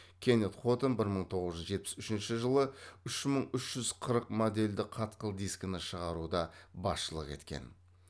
кеннет хотон бір мың тоғыз жүз жетпіс үшінші жылы үш мың үш жүз қырық модельді қатқыл дискіні шығаруда басшылық еткен